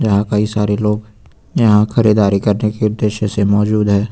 यहां कई सारे लोग यहां खरीदारी करने के उद्देश्य से मौजूद है।